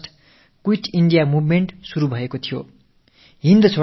August மாதம் 8ஆம் தேதி வெள்ளையனே வெளியேறு இயக்கம் தொடங்கப்பட்டது